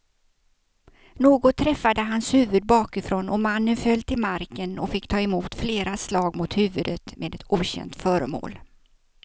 Något träffade hans huvud bakifrån och mannen föll till marken och fick ta emot flera slag mot huvudet med ett okänt föremål.